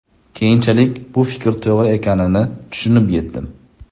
Keyinchalik bu fikr to‘g‘ri ekanini tushunib yetdim.